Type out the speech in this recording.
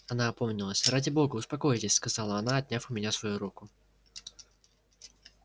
она опомнилась ради бога успокойтесь сказала она отняв у меня свою руку